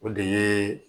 O de ye